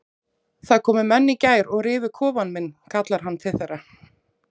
Það komu menn í gær og rifu kofann minn kallar hann til þeirra.